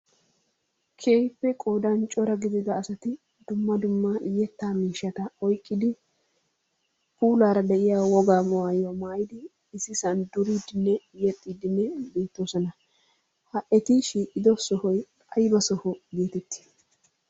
Keehippe qoodaan cora gidida asati dumma dumma yettaa miishshata oyqqidi puulaara de'iya wogaa maayuwa maayidi ississan duriidinne yexxiidinne uttiddossona, ha eti shiiqqoddo sohoy ayba soho geettetti?